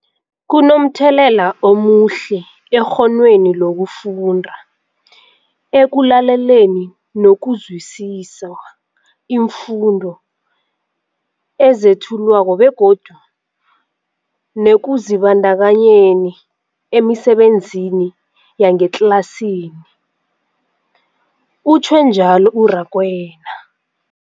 Kunomthelela omuhle ekghonweni lokufunda, ekulaleleni nokuzwisiswa iimfundo ezethulwako begodu nekuzibandakanyeni emisebenzini yangetlasini, utjhwe njalo u-Rakwena.